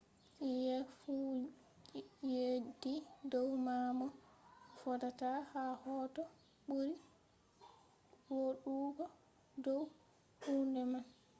hsieh fu yeddi dow ma mo vodata ha hoto ɓuri vooɗugo dow hunde man